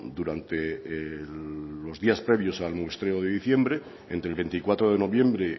durante los días previos al muestreo de diciembre entre el veinticuatro de noviembre